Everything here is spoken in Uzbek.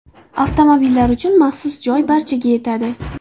Avtomobillar uchun maxsus joy barchaga yetadi!